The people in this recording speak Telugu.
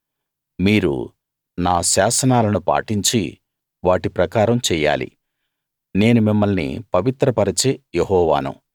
మీరు నా శాసనాలను పాటించి వాటి ప్రకారం చెయ్యాలి నేను మిమ్మల్ని పవిత్ర పరచే యెహోవాను